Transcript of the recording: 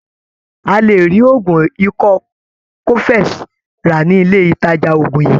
A lè rí oògùn ikọ́ cofex rà ní ilé ìtàjà oògùn yìí.